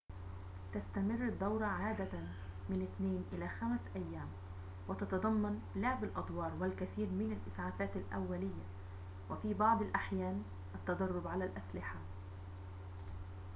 تستمر الدورة عادةً من 2 إلى 5 أيام وتتضمن لعب الأدوار والكثير من الإسعافات الأولية وفي بعض الأحيان التدرب على الأسلحة